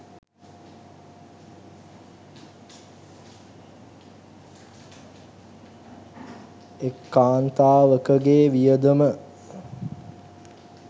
එක් කාන්තාවකගේ වියදම